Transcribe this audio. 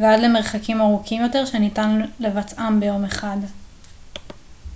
ועד למרחקים ארוכים יותר שניתן לבצעם ביום אחד